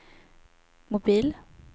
mobil